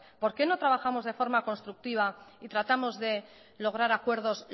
por que no trabajamos de forma constructiva y tratamos de lograr acuerdos